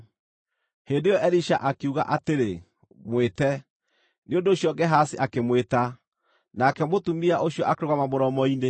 Hĩndĩ ĩyo Elisha akiuga atĩrĩ, “Mwĩte.” Nĩ ũndũ ũcio Gehazi akĩmwĩta, nake mũtumia ũcio akĩrũgama mũromo-inĩ.